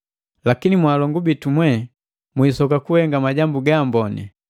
Lakini mwalongu bitu mwe, mwiisoka kuhenga majambu ga amboni.